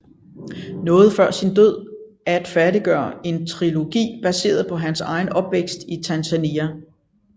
Nåede før sin død at færdiggøre en trilogi baseret på hans egen opvækst i Tanzania